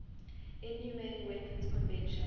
inhumane weapons convention